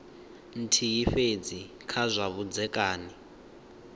nthihi fhedzi kha zwa vhudzekani